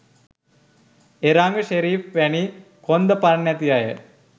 එරංග ෂෙරීෆ් වැනි කොන්ද පණ නැති අය